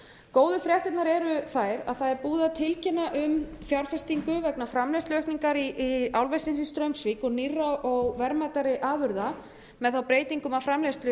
góðu fréttirnar eru þær að búið er að tilkynna um fjárfestingu vegna framleiðsluaukningar álversins í straumsvík og nýrra og verðmætari afurða með þá breytingu